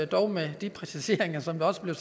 dog med de præciseringer som også blev